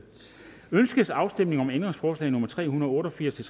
ønskes afstemning om ændringsforslag nummer tre hundrede og otte og firs til